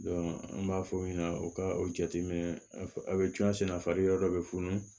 an b'a fɔ o ɲɛna o ka o jateminɛ a bɛ cun a sɛnɛ yɔrɔ dɔ bɛ funu